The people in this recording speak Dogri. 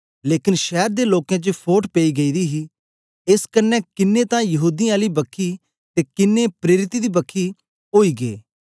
लेकन शैर दे लोकें च फोट पेई गेदी ही एस कन्ने किन्नें तां यहूदीयें आली बखी ते किन्नें प्रेरितें दी बखी ओई गे